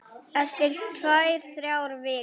Eftir tvær, þrjár vikur.